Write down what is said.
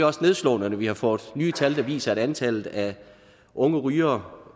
også nedslående at vi har fået nye tal der viser at antallet af unge rygere